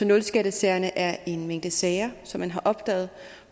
nul skattesagerne er en mængde sager som man har opdaget